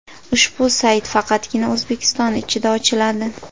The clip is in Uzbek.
Ushbu sayt faqatgina O‘zbekiston ichida ochiladi.